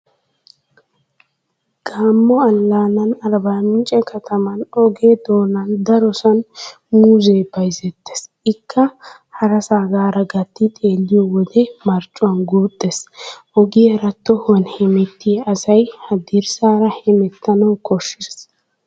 Gamo allaanan Arbbaamincce kataman oge doonan darosan muuzzee bayzzettees ikka harasaagaara gatti xeelliyo wode marccuwaan guuxxees. Ogiyaara tohuwan hemettiyaa asay haddirssaara hemettanawu koshshees.